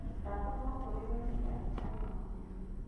Ndatũmwo kũrĩ we nĩ ndagĩtarĩ wa mahiũ.